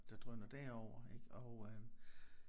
Der drøner derover ik og øh